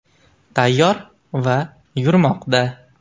Tayyor va yurmoqda.